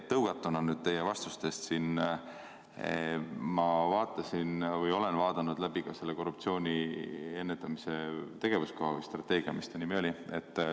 Tõugatuna teie siinsetest vastustest, vaatasin ma läbi selle korruptsiooni ennetamise tegevuskava või strateegia.